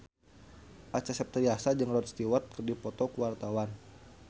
Acha Septriasa jeung Rod Stewart keur dipoto ku wartawan